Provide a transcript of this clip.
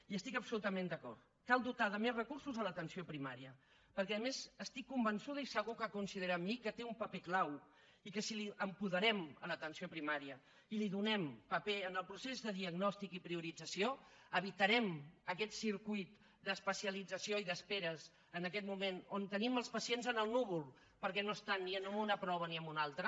hi estic absolutament d’acord cal dotar de més recursos l’atenció primària perquè a més estic convençuda i segur que coincidirà amb mi que té un paper clau i que si apoderem l’atenció primària i li donem paper en el procés de diagnòstic i priorització evitarem aquest circuit d’especialització i d’esperes en aquest moment on tenim els pacients en el núvol perquè no estan ni en una prova ni en una altra